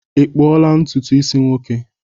i kpuola ntutu isi nwoke?